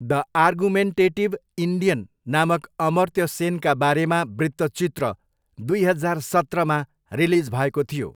The argumentative Indian नामक अमर्त्य सेनका बारेमा वृत्तचित्र दुई हजार सत्रमा रिलिज भएको थियो।